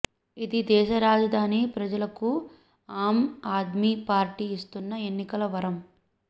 ఇది దేశ రాజధాని ప్రజలకు ఆమ్ ఆద్మీ పార్టీ ఇస్తున్న ఎన్నికల వరం